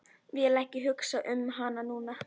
Vill ekki hugsa um hana núna.